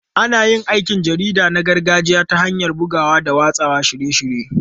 Ana yin aikin jarida na gargajiya ta hanyar bugawa da watsa shirye-shirye.